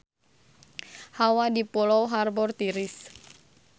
Hawa di Pulau Harbour tiris